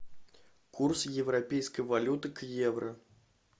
курс европейской валюты к евро